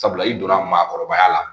Sabula i donna maakɔrɔbaya la